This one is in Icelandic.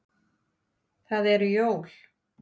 Það eru jól.